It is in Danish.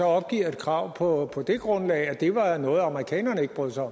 opgiver et krav på det grundlag at det var noget amerikanerne ikke brød sig